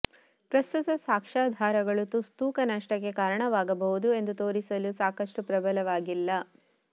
ಪ್ರಸ್ತುತ ಸಾಕ್ಷ್ಯಾಧಾರಗಳು ತೂಕ ನಷ್ಟಕ್ಕೆ ಕಾರಣವಾಗಬಹುದು ಎಂದು ತೋರಿಸಲು ಸಾಕಷ್ಟು ಪ್ರಬಲವಾಗಿಲ್ಲ